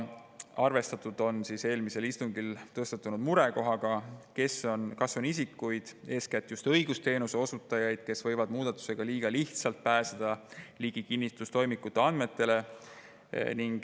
Arvestatud oli eelmisel istungil tõstatunud murekohaga, kas on isikuid, eeskätt just õigusteenuse osutajaid, kes võivad muudatuse tõttu liiga lihtsalt hakata ligi pääsema kinnistustoimikute andmetele.